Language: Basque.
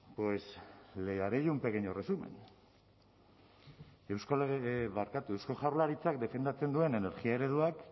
pues le haré yo un pequeño resumen eusko lege barkatu eusko jaurlaritzak defendatzen duen energia ereduak